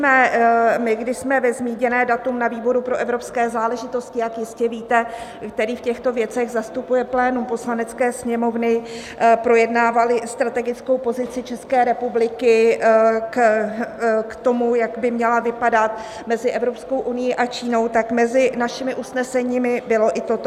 My, když jsme ve zmíněné datum na výboru pro evropské záležitosti, jak jistě víte, který v těchto věcech zastupuje plénum Poslanecké sněmovny, projednávali strategickou pozici České republiky k tomu, jak by měla vypadat mezi Evropskou unií a Čínou, tak mezi našimi usneseními bylo i toto.